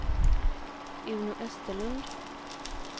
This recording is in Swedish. Uno Österlund